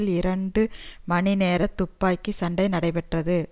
ஒரு இரண்டு மணி நேர துப்பாக்கி சண்டை நடைபெற்றது